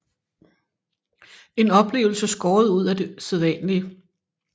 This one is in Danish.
En oplevelse skåret ud af det sædvanlige